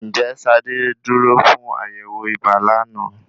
Ń jẹ́ ṣadé dúró fún àyẹ̀wọ̀ ibà lánàá?